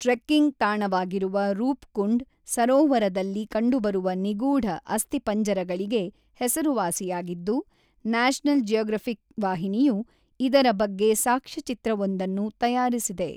Trekking ತಾಣವಾಗಿರುವ ರೂಪ್‌ಕುಂಡ್, ಸರೋವರದಲ್ಲಿ ಕಂಡುಬರುವ ನಿಗೂಢ ಅಸ್ಥಿಪಂಜರಗಳಿಗೆ ಹೆಸರುವಾಸಿಯಾಗಿದ್ದು, ನ್ಯಾಷನಲ್ ಜಿಯಾಗ್ರಫಿಕ್ ವಾಹಿನಿಯು ಇದರ ಬಗ್ಗೆ ಸಾಕ್ಷ್ಯಚಿತ್ರವೊಂದನ್ನು ತಯಾರಿಸಿದೆ.